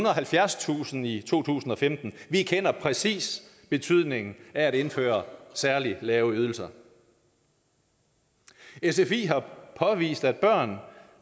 og halvfjerdstusind i to tusind og femten vi kender præcis betydningen af at indføre særlig lave ydelser sfi har påvist at børn